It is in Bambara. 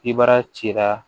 Kibaruya cira